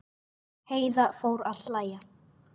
Heiða fór að hlæja.